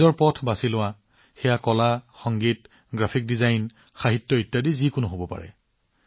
আপোনাৰ অন্তৰাত্মাৰ কথা শুনক ই কলা সংগীত গ্ৰাফিক ডিজাইন সাহিত্য আদি হব পাৰে